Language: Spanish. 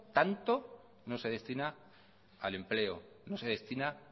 tanto no se destina al empleo no se destina